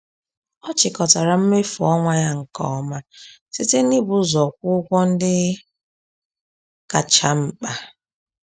Ọ chịkọtara mmefu ọnwa ya nke ọma site n’ịbụ ụzọ kwụọ ụgwọ ndị kacha mkpa.